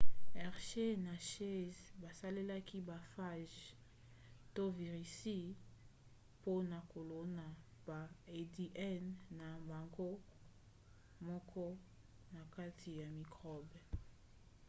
hershey na chase basalelaki ba phages to virisi mpona kolona ba adn na bango moko na kati ya mikrobe